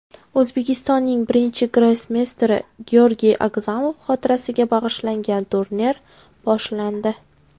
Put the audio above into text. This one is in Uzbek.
O‘zbekistonning birinchi grossmeysteri Georgiy Agzamov xotirasiga bag‘ishlangan turnir boshlandi.